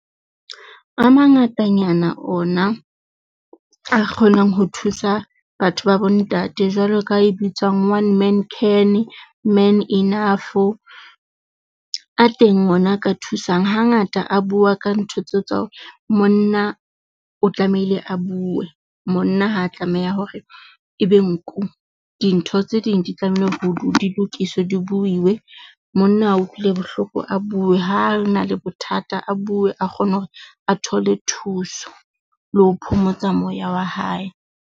A mangatanyana ona, a kgonang ho thusa batho ba bo ntate jwalo ka e bitswang, one man can, man enough. A teng ona a ka thusang hangata a bua ka ntho tseo tsa hore monna o tlamehile a bue monna ha tlameha hore ebe nku. Dintho tse ding di tlamehile ho do di lokiswe di buiwe. Monna ha a utlwile bohloko a bue ha a na le bothata, a bue, a kgone hore a thole thuso le ho phomotsa moya wa hae.